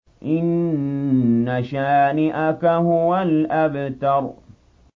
إِنَّ شَانِئَكَ هُوَ الْأَبْتَرُ